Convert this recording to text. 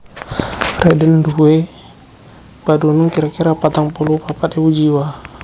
Rheden nduwé padunung kira kira patang puluh papat ewu jiwa